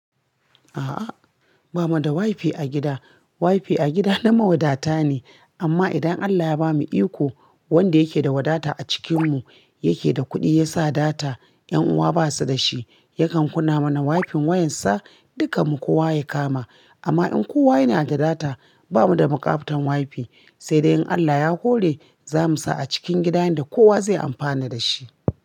A'a, ba mu da wifi a gida. Wifi a gida na mawadata ne, amma idan Allah ya bamu iko, wanda yake da wadata a cikinmu, yake da kuɗi ya sa data, ƴan uwa ba su da shi, yakan kunna mana wifi'n, wa'yansa dukanmu kowa ya kama. Amma in kowa yana da data, ba mu da bukatan wifi. Sai dai in Allah ya hore, za mu sa a cikin gidan yanda kowa zai amfana da shi.